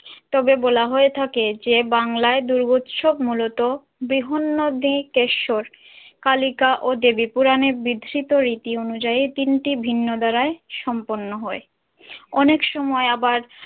তবে বলা হয়ে থাকে যে বাংলায় দুর্গোৎসব মূলত বিহন্নদী কেশর কালিকা ও দেবী পুরানের বিধ্রিত রীতি আনুযায়ী তিনটি ভিন্ন দ্বারাই সম্পন্ন হয় অনেক সময় আবার।